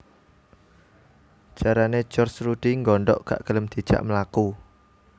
Jarane George Rudi nggondok gak gelem dijak mlaku